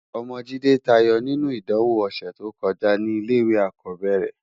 Òmò Jide tàáyò ninú idánwó òsètókójá ni ilé iwé ákòbèrè rè